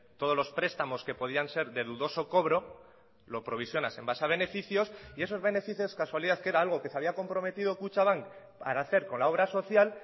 todos los prestamos que podían ser de dudoso cobro lo provisionas en base a beneficios y esos beneficios casualidad que era algo que se había comprometido kutxabank para hacer con la obra social